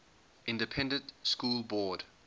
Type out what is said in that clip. independent school board